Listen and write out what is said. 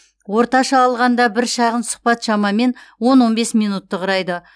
орташа алғанда бір шағын сұхбат шамамен он он бес минутты құрайды